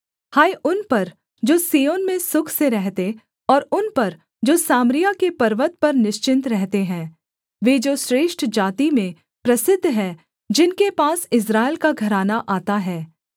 हाय उन पर जो सिय्योन में सुख से रहते और उन पर जो सामरिया के पर्वत पर निश्चिन्त रहते हैं वे जो श्रेष्ठ जाति में प्रसिद्ध हैं जिनके पास इस्राएल का घराना आता है